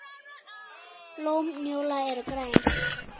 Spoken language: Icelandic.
Blóm njóla eru græn.